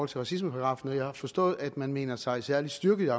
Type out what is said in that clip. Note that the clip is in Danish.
til racismeparagraffen og jeg har forstået at man mener sig særlig styrket